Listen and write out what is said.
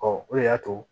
o de y'a to